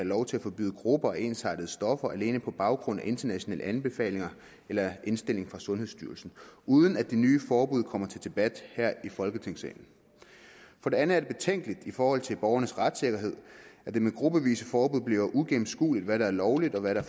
lov til at forbyde grupper af ensartede stoffer alene på baggrund af en international anbefaling eller en indstilling fra sundhedsstyrelsen uden at det nye forbud kommer til debat her i folketingssalen for det andet er det betænkeligt i forhold til borgernes retssikkerhed at det med gruppevise forbud bliver uigennemskueligt hvad der er lovligt og hvad der